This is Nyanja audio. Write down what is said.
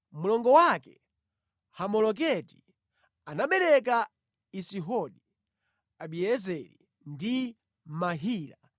Mlongo wake Hamoleketi anabereka Isihodi, Abiezeri ndi Mahila.